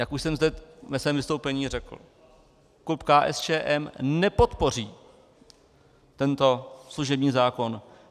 Jak už jsem zde ve svém vystoupení řekl, klub KSČM nepodpoří tento služební zákon.